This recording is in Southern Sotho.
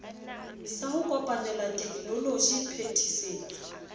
sa ho kopanela tekenoloji phetisetso